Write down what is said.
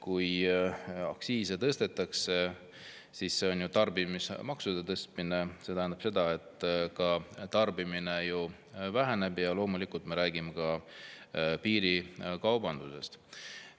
Kui aktsiise tõstetakse, siis see on ju tarbimismaksude tõstmine, mis tähendab seda, et tarbimine väheneb, ja loomulikult me räägime ka piirikaubandusest.